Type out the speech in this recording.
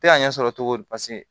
Tɛ ka ɲɛ sɔrɔ cogo di paseke